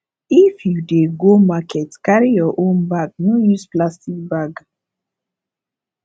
if you dey go market carry your own bag no use plastic bag